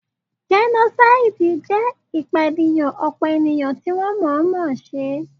Jẹ́nósáìdì jẹ́ ìpànìyàn ọ̀pọ̀ ènìyàn tí wọ́n mọ̀ọ́ mọ̀ se